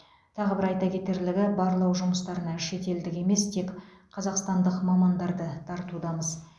тағы бір айта кетерлігі барлау жұмыстарына шетелдік емес тек қазақстандық мамандарды тартудамыз